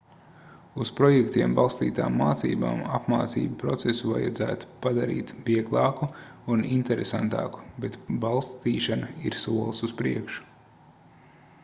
uz projektiem balstītām mācībām apmācību procesu vajadzētu padarīt vieglāku un interesantāku bet balstīšana ir solis uz priekšu